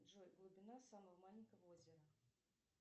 джой глубина самого маленького озера